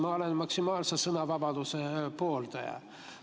Ma olen maksimaalse sõnavabaduse pooldaja.